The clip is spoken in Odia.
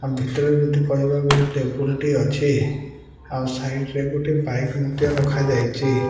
ଆମ ଭିତରେ ଯଦି କହିବା ଗୋଟେ ଟେବୁଲ୍ ଟେ ଅଛି ଆଉ ସାଇଟ୍ ରେ ଗୋଟେ ବାଇକ୍ ଟେ ମଧ୍ୟ ରଖା ଯାଇଛି।